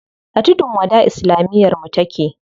A tudun wada islamiyar mu take.